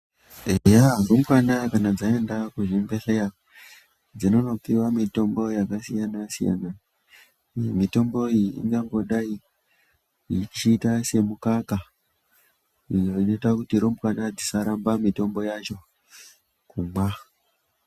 Eya rumbwana kana dzaenda kuzvibhedhleya dzinono piva mitombo yakasiyana-siyana. Mitombo iyi ingangodai ichiita semukaka iyo inoita kuti humbwana dzisaramba mitombo yacho kumwa.